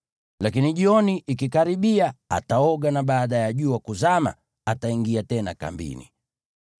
Lakini jioni ikikaribia ataoga, na baada ya jua kuzama ataingia tena kambini.